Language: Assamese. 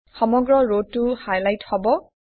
সমগ্ৰ ৰটো হাইলাইট হব